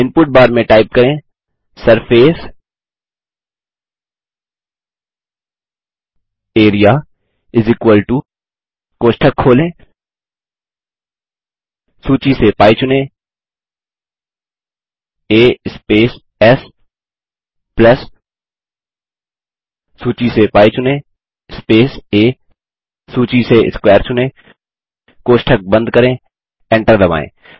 input bar में type करें सर्फेसियरिया कोष्ठक खोलें सूची से πचुनें आ स्पेस एस प्लस सूची से πचुनें स्पेस आ सूची से स्क्वेयर चुनें कोष्ठक बंद करें एंटर दबायें